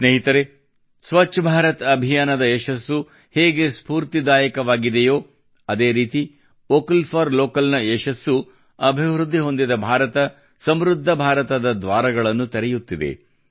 ಸ್ನೇಹಿತರೇ ಸ್ವಚ್ಛ ಭಾರತ್ ಅಭಿಯಾನದ ಯಶಸ್ಸು ಹೇಗೆ ಸ್ಫೂರ್ತಿದಾಯಕವಾಗಿದೆಯೋ ಅದೇ ರೀತಿ ವೋಕಲ್ ಫಾರ್ ಲೋಕಲ್ನ ಯಶಸ್ಸು ಅಭಿವೃದ್ಧಿ ಹೊಂದಿದ ಭಾರತ ಸಮೃದ್ಧ ಭಾರತದ ದ್ವಾರಗಳನ್ನು ತೆರೆಯುತ್ತಿದೆ